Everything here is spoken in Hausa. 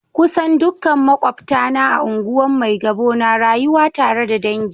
Kusan dukkan makwabtana a unguwan Maigabo na rayuwa tare da dangi.